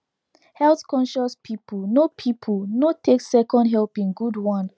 healthconscious people no people no take second helping good one